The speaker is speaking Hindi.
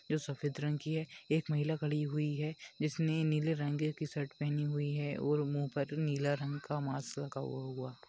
जो सफेद रंग की है एक महिला खड़ी हुई है जिसने नीले रंग की शर्ट पहनी हुई है और मुंह पर नीला रंग का मास्क लगा हुआ हुआ--